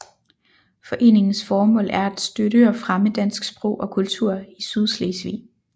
Foreningens formål er at støtte og fremme dansk sprog og kultur i Sydslesvig